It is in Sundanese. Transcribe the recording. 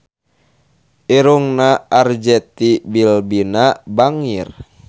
Irungna Arzetti Bilbina bangir